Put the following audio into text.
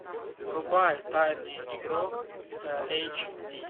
врубай тайный игрок эйч ди